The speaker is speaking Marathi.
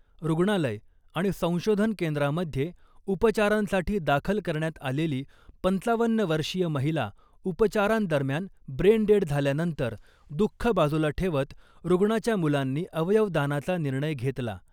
रुग्णालय आणि संशोधन केंद्रामध्ये उपचारांसाठी दाखल करण्यात आलेली पंचावन्न वर्षीय महिला उपचारांदरम्यान ब्रेन डेड झाल्यानंतर दुःख बाजूला ठेवत रुग्णाच्या मुलांनी अवयवदानाचा निर्णय घेतला .